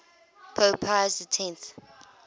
pope pius x